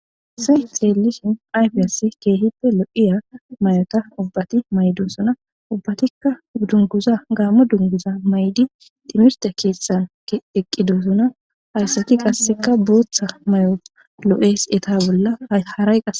Haysan xeellishin ayfi ass keehippe lo7iya may7ota ubbati maydosuna ubbatikka dunguza gaamo dunguza may7di timirta keessan eqqidosuna hayssaki qasseka booththa may7o lo7es eta bolla harayqa